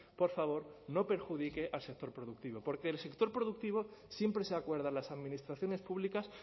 por favor no perjudique al sector productivo porque del sector productivo siempre se acuerdan las administraciones públicas